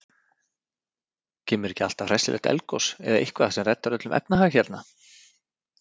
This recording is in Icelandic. Kemur ekki alltaf hressilegt eldgos eða eitthvað sem reddar öllum efnahag hérna?